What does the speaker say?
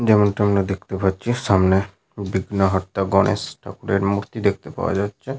যেমনটি আমরা দেখতে পাচ্ছি সামনে বিঘ্নহর্তা গণেশ ঠাকুরের মূর্তি দেখতে পাওয়া যাচ্ছে।